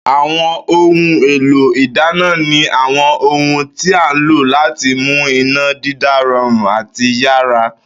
Àwo̩n ohun èlò ìdáná ni àwo̩n ohun tí a ń lò láti mú iná dídá ro̩rùn àti yára